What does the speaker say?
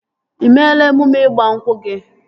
Ị meela emume ịgba nkwụ gị?